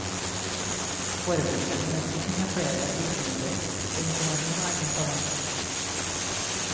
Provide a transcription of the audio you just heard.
Forebyggende medisin har flere virkemidler, og informasjon er ett av dem.